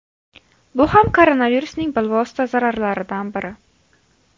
Bu ham koronavirusning bilvosita zararlaridan biri.